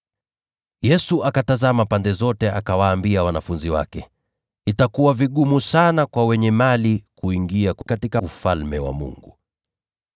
Yesu akatazama pande zote, akawaambia wanafunzi wake, “Itakuwa vigumu sana kwa wenye mali kuingia katika Ufalme wa Mungu!”